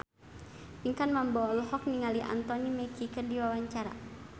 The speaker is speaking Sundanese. Pinkan Mambo olohok ningali Anthony Mackie keur diwawancara